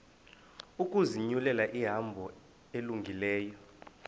ukuzinyulela ihambo elungileyo